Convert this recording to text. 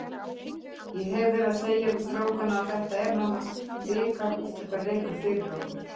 Ég hef verið að segja við strákana að þetta er nánast bikarúrslitaleikur fyrir okkur.